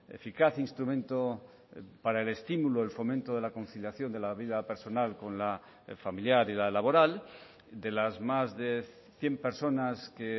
eficaz instrumento para el estímulo el fomento de la conciliación de la vida personal con la familiar y la laboral de las más de cien personas que